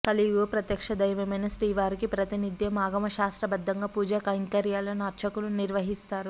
కలియుగ ప్రత్యక్ష దైవమైన శ్రీవారికి ప్రతి నిత్యం ఆగమ శాస్త్రబద్ధంగా పూజా కైంకర్యాలను అర్చకులు నిర్వహిస్తారు